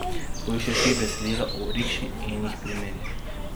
Poišči tri besedila o rikši in jih primerjaj.